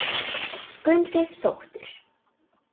Það fannst honum töff.